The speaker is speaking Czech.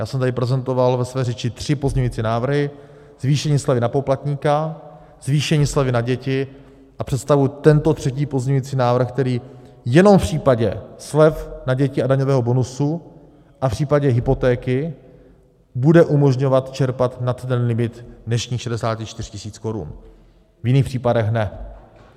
Já jsem tady prezentoval ve své řeči tři pozměňující návrhy - zvýšení slevy na poplatníka, zvýšení slevy na děti a představuji tento třetí pozměňující návrh, který jenom v případě slev na děti a daňového bonusu a v případě hypotéky bude umožňovat čerpat nad ten limit dnešních 64 tisíc korun, v jiných případech ne.